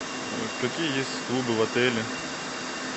какие есть клубы в отеле